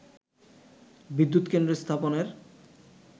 বিদ্যুত কেন্দ্র স্থাপনের